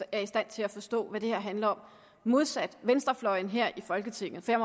er i stand til at forstå hvad det her handler om modsat venstrefløjen her i folketinget jeg